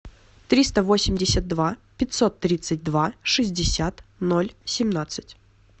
триста восемьдесят два пятьсот тридцать два шестьдесят ноль семнадцать